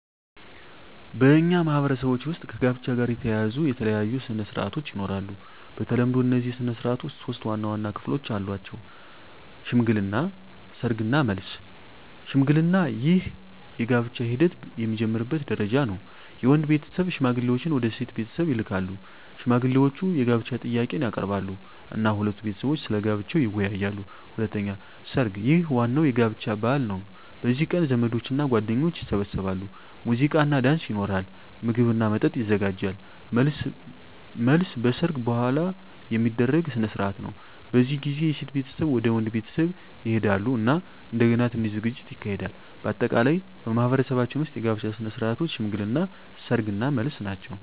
በእኛ ማህበረሰቦች ውስጥ ከጋብቻ ጋር የተያያዙ የተለያዩ ሥነ ሥርዓቶች ይኖራሉ። በተለምዶ እነዚህ ሥነ ሥርዓቶች ሶስት ዋና ዋና ክፍሎች አላቸው፦ ሽምግልና፣ ሰርግ እና መልስ። 1. ሽምግልና ይህ የጋብቻ ሂደት የሚጀምርበት ደረጃ ነው። የወንድ ቤተሰብ ሽማግሌዎችን ወደ ሴት ቤተሰብ ይልካሉ። ሽማግሌዎቹ የጋብቻ ጥያቄን ያቀርባሉ እና ሁለቱ ቤተሰቦች ስለ ጋብቻው ይወያያሉ። 2. ሰርግ ይህ ዋናው የጋብቻ በዓል ነው። በዚህ ቀን ዘመዶችና ጓደኞች ይሰበሰባሉ፣ ሙዚቃና ዳንስ ይኖራል፣ ምግብና መጠጥ ይዘጋጃል። 3. መልስ መልስ በሰርግ በኋላ የሚደረግ ሥነ ሥርዓት ነው። በዚህ ጊዜ የሴት ቤተሰብ ወደ ወንድ ቤተሰብ ይሄዳሉ እና እንደገና ትንሽ ዝግጅት ይካሄዳል። በአጠቃላይ በማኅበረሰባችን ውስጥ የጋብቻ ሥነ ሥርዓቶች ሽምግልና፣ ሰርግ እና መልስ ናቸው።